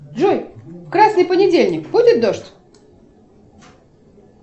джой в красный понедельник будет дождь